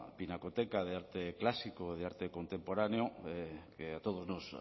pinacoteca de arte clásico de arte contemporáneo que a todos nos